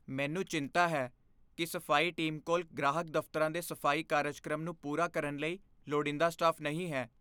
ਮੈਨੂੰ ਚਿੰਤਾ ਹੈ ਕਿ ਸਫ਼ਾਈ ਟੀਮ ਕੋਲ ਗ੍ਰਾਹਕ ਦਫ਼ਤਰਾਂ ਦੇ ਸਫ਼ਾਈ ਕਾਰਜਕ੍ਰਮ ਨੂੰ ਪੂਰਾ ਕਰਨ ਲਈ ਲੋੜੀਂਦਾ ਸਟਾਫ਼ ਨਹੀਂ ਹੈ।